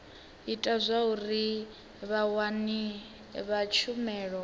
ita zwauri vhawani vha tshumelo